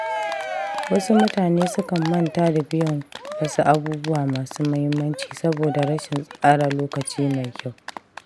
Wasu mutane sukan manta da biyan wasu abubuwa masu muhimmanci saboda rashin tsara lokaci mai kyau.